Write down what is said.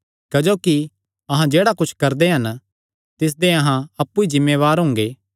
क्जोकि अहां जेह्ड़ा कुच्छ करदे हन तिसदे अहां अप्पु ई जिम्मेवार हुंगे